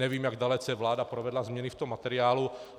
Nevím, jak dalece vláda provedla změny v tom materiálu.